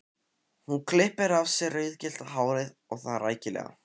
Hún klippir af sér rauðgyllta hárið og það rækilega.